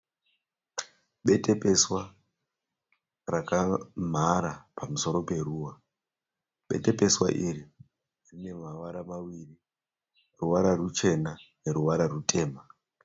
Betepeswa rakamhara pamusoro peruva. Betepeswa iri rineruvara maviri. Ruvara rwuchena, neruvara rwutema.